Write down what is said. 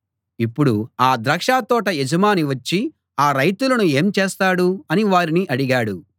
ఇప్పుడు ఆ ద్రాక్షతోట యజమాని వచ్చి ఆ రైతులను ఏం చేస్తాడు అని వారిని అడిగాడు